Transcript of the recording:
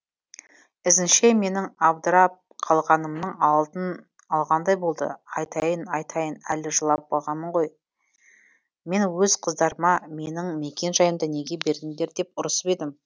ізінше менің абдырап қалғанымның алдын алғандай болды айтайын айтайын әлі жылап бағамын ғой мен өз қыздарыма менің мекен жайымды неге бердіңдер деп ұрсып едім